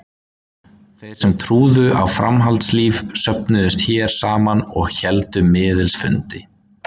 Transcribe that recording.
Þeir sem trúðu á framhaldslíf söfnuðust hér saman og héldu miðils fundi.